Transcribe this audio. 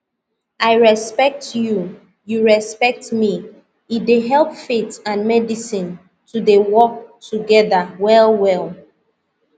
i respect you you respect me e dey help faith and medicine to dey work together well well